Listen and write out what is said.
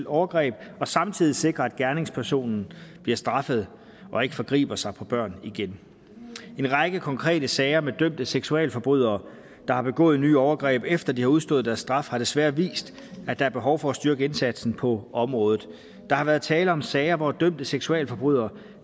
overgreb og samtidig sikre at gerningspersonen bliver straffet og ikke forgriber sig på børn igen en række konkrete sager med dømte seksualforbrydere der har begået nye overgreb efter de har udstået deres straf har desværre vist at der er behov for at styrke indsatsen på området der har været tale om sager hvor dømte seksualforbrydere